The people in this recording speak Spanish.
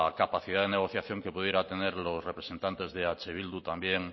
capacidad de negociación que pudieran tener los representantes de eh bildu también